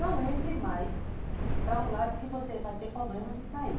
Não entre mais para um lado que você vai ter problema de sair.